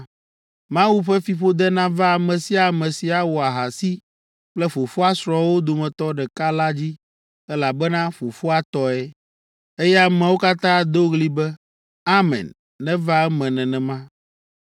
“Mawu ƒe fiƒode nava ame sia ame si awɔ ahasi kple fofoa srɔ̃wo dometɔ ɖeka la dzi, elabena fofoa tɔe.” Eye ameawo katã ado ɣli be, “Amen; neva eme nenema!”